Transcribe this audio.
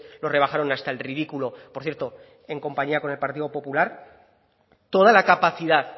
lo rebajaron hasta el ridículo por cierto en compañía con el partido popular toda la capacidad